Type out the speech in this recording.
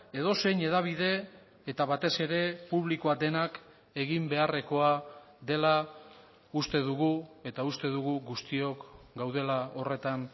edozein hedabide eta batez ere publikoa denak egin beharrekoa dela uste dugu eta uste dugu guztiok gaudela horretan